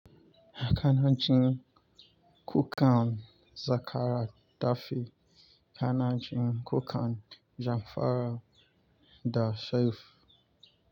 Hakanancin Kukand Zakara Tafie. Hakanancin Kukand Jamfara da Shaifu.